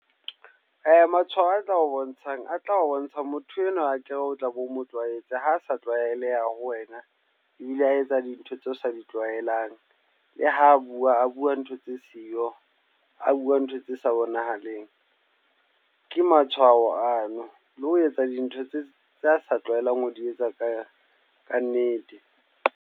Matshwao a tla o bontshang, a tla o bontsha motho enwa wa akere o tla be o mo tlwaetse. Ha sa tlwaeleha ho wena ebile a etsa dintho tseo o sa di tlwaelang. Le ho bua, a bua ntho tse siyo. A bua ntho tse sa bonahaleng, ke matshwao ano. Le ho etsa dintho tse tse a sa tlwaelang ho di etsa ka ka nnete.